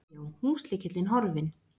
Já, já, húslykillinn horfinn!